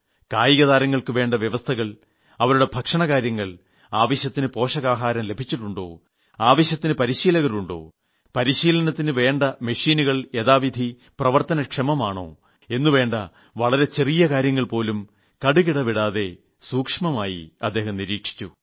കായിക താരങ്ങൾക്ക് വേണ്ട സൌകര്യങ്ങൾ അവരുടെ ഭക്ഷണ കാര്യങ്ങൾ ആവശ്യത്തിന് പോഷകാഹാരം ലഭിച്ചിട്ടുണ്ടോ അവർക്ക് ആവശ്യത്തിന് പരിശീലകരുണ്ടോ പരിശീലനത്തിന് വേണ്ട മെഷീനുകൾ യഥാവിധി പ്രവർത്തന ക്ഷമമാണോ എന്നു വേണ്ട വളരെ ചെറിയ കാര്യങ്ങൾ പോലും കടുകിട വിടാതെ സൂക്ഷ്മമായി അദ്ദേഹം നിരീക്ഷിച്ചു